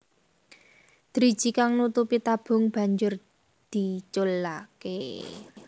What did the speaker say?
Driji kang nutupi tabung banjur diculaké